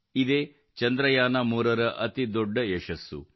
ಇದು ಇದೇ ಚಂದ್ರಯಾನ3 ರ ಅತಿ ದೊಡ್ಡ ಯಶಸ್ಸು